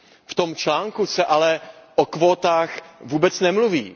V tom článku se ale o kvótách vůbec nemluví.